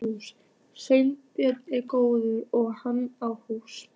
Sveinbjörn er góður og hann á hús.